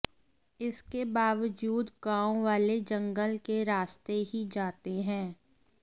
इसके बावजूद गांव वाले जंगल के रास्ते ही जाते हैं